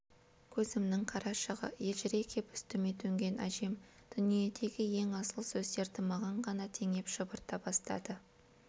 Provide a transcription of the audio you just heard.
көзімнің қарашығы елжірей кеп үстіме төнген әжем дүниедегі ең асыл сөздерді маған ғана теңеп шұбырта бастады